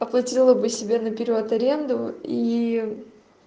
оплатила бы себе наперёд аренду и